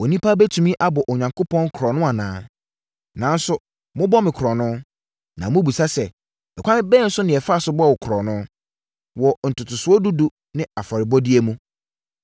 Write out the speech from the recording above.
“Onipa bɛtumi abɔ Onyankopɔn korɔno anaa? Nanso, mobɔ me korɔno! Na mobɛbisa sɛ, ‘ɛkwan bɛn so na yɛfa bɔɔ wo korɔno?’ “Wɔ ntotosoɔ dudu ne afɔrebɔdeɛ mu.